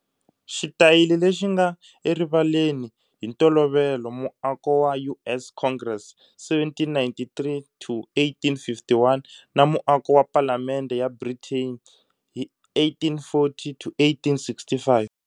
Xitayili lexi nga erivaleni, hi ntolovelo muako wa US Congress, 1793 to 1851, na muako wa Palamende ya Britain, 1840 to 1865.